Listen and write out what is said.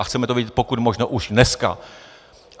A chceme to vědět pokud možno už dneska.